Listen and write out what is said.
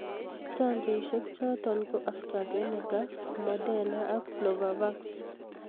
chanjoisiek choto ko Astrazeneca, Moderna AK Novavax.